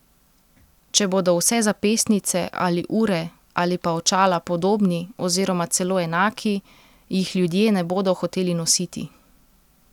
Če bodo vse zapestnice ali ure ali pa očala podobni oziroma celo enaki, jih ljudje ne bodo hoteli nositi.